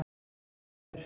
Arnfríður